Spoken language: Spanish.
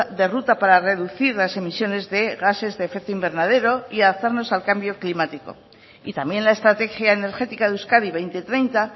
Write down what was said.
de ruta para reducir las emisiones de gases de efecto invernadero y alzarnos al cambio climático y también la estrategia energética de euskadi dos mil treinta